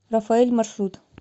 рафаэль маршрут